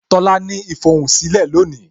Tola ní ifohunsilẹ lónìí